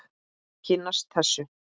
Kynnast þessu.